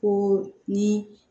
Ko ni